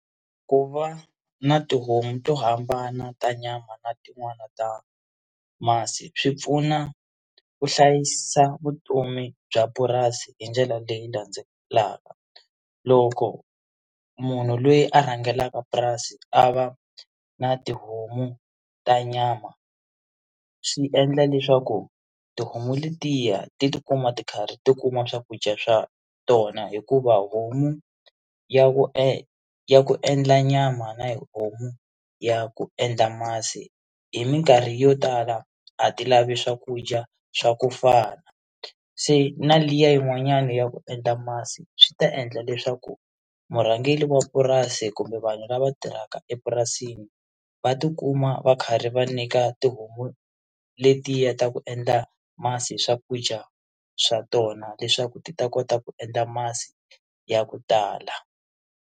Ku va na tihomu to hambana ta nyama na tin'wani ta masi swi pfuna ku hlayisa vutomi bya purasi hi ndlela leyi landzelaka loko munhu loyi a rhangelaka purasi a va na tihomu ta nyama swi endla leswaku tihomu letiya ti tikuma ti karhi ti kuma swakudya swa tona hikuva homu ya ku e ya ku endla nyama na homu ya ku endla masi hi mikarhi yo tala a ti lavi swakudya swa ku fana se na liya yin'wanyana ya ku endla masi swi ta endla leswaku murhangeri wa purasi kumbe vanhu lava tirhaka epurasini va tikuma va karhi va nyika tihomu letiya ta ku endla masi swakudya swa tona leswaku ti ta kota ku endla masi ya ku tala.